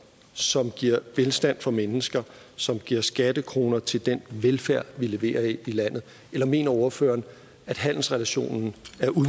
som giver velstand for mennesker som giver skattekroner til den velfærd vi leverer her i landet eller mener ordføreren at handelsrelationen